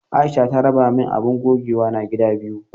Aisha ta raba min abun gogewana gida biyu.